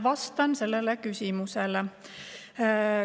Vastan sellele.